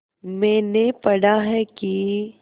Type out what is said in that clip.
मैंने पढ़ा है कि